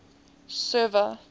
server